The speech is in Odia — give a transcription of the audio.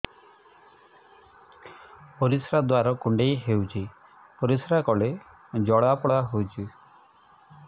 ପରିଶ୍ରା ଦ୍ୱାର କୁଣ୍ଡେଇ ହେଉଚି ପରିଶ୍ରା କଲେ ଜଳାପୋଡା ହେଉଛି